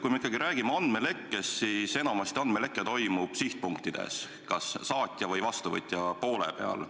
Kui me räägime andmelekkest, siis enamasti toimub andmeleke sihtpunktides – kas saatja või vastuvõtja poole peal.